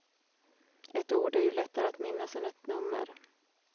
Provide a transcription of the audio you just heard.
Ett ord är ju lättare att minnas än ett nummer.